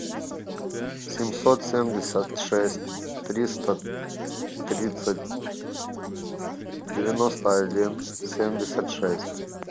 семьсот семьдесят шесть триста тридцать девяносто один семьдесят шесть